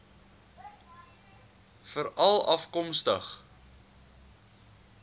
veralafkomstig